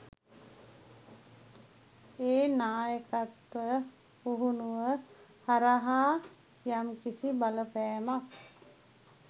මේ නායකත්ව පුහුණුව හරහා යම් කිසි බලපෑමක්